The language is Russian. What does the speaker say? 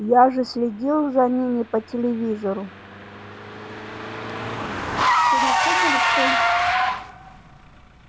я же следил за ними по телевизору